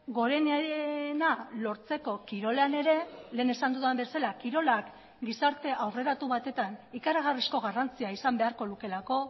gorenarena lortzeko kirolean ere lehen esan dudan bezala kirolak gizarte aurreratu batetan ikaragarrizko garrantzia izan beharko lukeelako